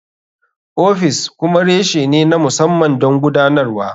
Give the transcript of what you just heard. Ofis kuma reshe ne na musamman don gudanarwa.